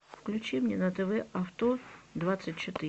включи мне на тв авто двадцать четыре